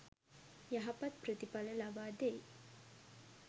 යහපත් ප්‍රතිඵල ලබා දෙයි.